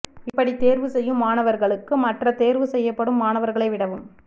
இப்படித் தேர்வு செய்யும் மாணவர்களுக்கு மற்ற தேர்வு செய்யப்படும் மாணவர்களை விடவும்